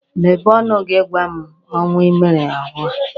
Mepee ọnụ gị gwa m ọnwa i mere arụ a!